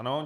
Ano.